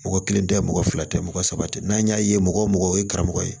Mɔgɔ kelen tɛ mɔgɔ fila tɛ mɔgɔ saba tɛ n'an y'a ye mɔgɔ mɔgɔ ye karamɔgɔ ye